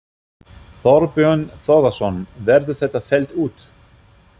Þorbjörn Þórðarson: Verður þetta fellt út?